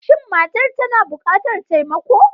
Shin matar tana bukatar taimako?